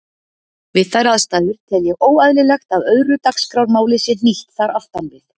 Við þær aðstæður tel ég óeðlilegt að öðru dagskrármáli sé hnýtt þar aftan við.